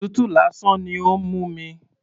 Òtútù lásán ni ó ń mú mi.